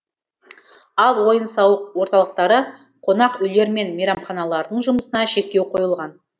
ал ойын сауық орталықтары қонақүйлер мен мейрамханалардың жұмысына шектеу қойылған